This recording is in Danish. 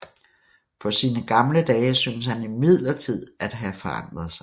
På sine gamle dage syntes han imidlertid at have forandret sig